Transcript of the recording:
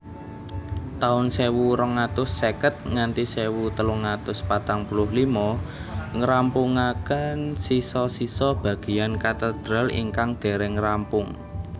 taun sewu rong atus seket nganthi sewu telung atus patang puluh limo ngrampungaken sisa sisa bageyan katedral ingkang dereng rampung